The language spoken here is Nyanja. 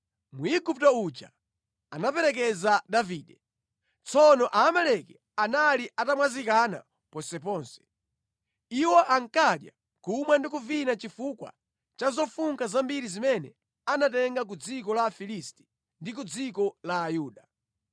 Mwigupto uja anaperekeza Davide. Tsono Aamaleki anali atamwazikana ponseponse. Iwo ankadya, kumwa ndi kuvina chifukwa cha zofunkha zambiri zimene anatenga ku dziko la Afilisti ndi ku dziko la Ayuda.